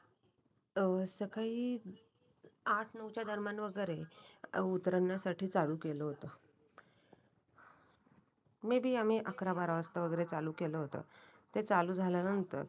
अव सकाळी आठ नऊच्या दरम्यान वगैरे उतरण्यासाठी चालू केलं होतं. मेंबेआम्ही अकरा बारा वाजता वगैरे चालू केलं होतं ते चालू झाल्यानंतर